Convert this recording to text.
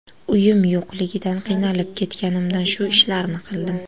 Uyim yo‘qligidan, qiynalib ketganimdan shu ishlarni qildim.